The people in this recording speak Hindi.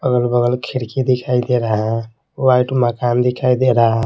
अगल-बगल खिड़की दिखाई दे रहा है वाइट मकान दिखाई दे रहा है।